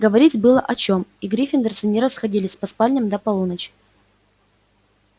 говорить было о чём и гриффиндорцы не расходились по спальням до полуночи